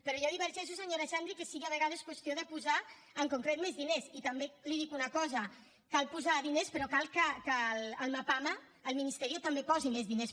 però jo divergeixo senyora xandri que sigui a vegades qüestió de posar en concret més diners i també li dic una cosa cal posar diners però cal que el mapama el ministerio també posi més diners